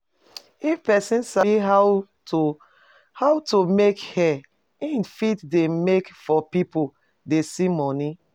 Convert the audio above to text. If persin sabi how to how to make hair im fit de make for pipo dey see money